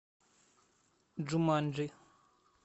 джуманджи